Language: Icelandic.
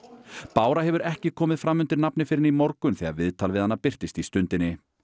bára hefur ekki komið fram undir nafni fyrr en í morgun þegar viðtal við hana birtist í Stundinni